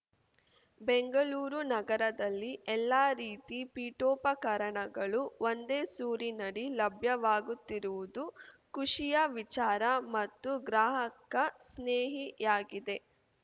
ಬೆಂಗಳೂರು ನಗರದಲ್ಲಿ ಎಲ್ಲ ರೀತಿ ಪೀಠೋಪಕರಣಗಳು ಒಂದೇ ಸೂರಿನಡಿ ಲಭ್ಯವಾಗುತ್ತಿರುವುದು ಖುಷಿಯ ವಿಚಾರ ಮತ್ತು ಗ್ರಾಹಕ ಸ್ನೇಹಿಯಾಗಿದೆ